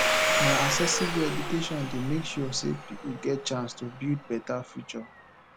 na accessible eduation dey make sure sey pipo get chance to build beta future